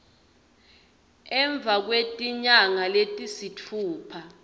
emva kwetinyanga letisitfupha